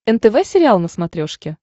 нтв сериал на смотрешке